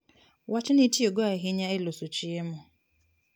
Wachni itiyogo ahinya e loso chiemo.